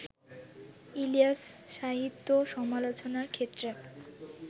ইলিয়াস-সাহিত্য সমালোচনার ক্ষেত্রে